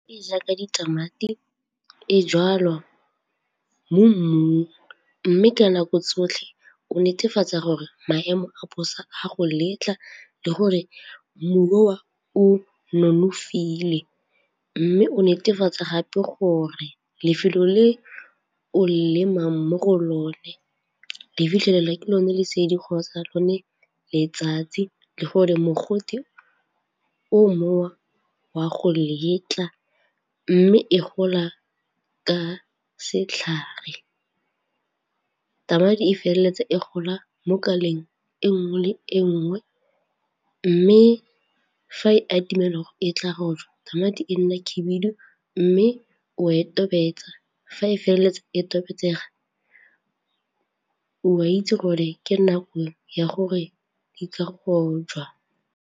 E jaaka ditamati e jalwa mo mmung mme ka nako tsotlhe o netefatsa gore maemo a bosa a go letla le gore mobu oo o nonofile mme o netefatsa gape gore lefelo le o lemang mo go lone le fitlhelelwa ke lone lesedi kgotsa lone letsatsi le gore mogote o moo o a go letla mme e gola ka setlhare. Tamati e feleletsa e gola mo kaleng e nngwe le e nngwe mme fa e atamela e tla go jwa tamati e nne khibidu mme o e tobetsa fa e feleletsa e tobetsega o a itse gore ke nako ya gore di ka rojwa.